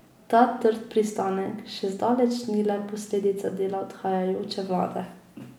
Ta trd pristanek še zdaleč ni le posledica dela odhajajoče vlade.